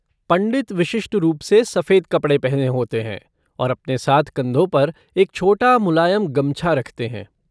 पंडित विशिष्ट रूप से सफ़ेद कपड़े पहने होते है और अपने साथ कंधों पर एक छोटा मुलायम गमछा रखते हैं।